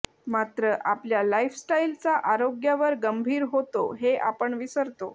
मात्र आपल्या लाईफस्टाईलचा आरोग्यावर गंभीर होतो हे आपण विसरतो